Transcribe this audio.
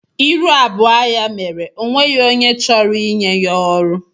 Ịrụ abụọ ya mere o nweghị onye chọrọ ịnye ya ọrụ.